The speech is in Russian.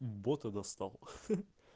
бота достал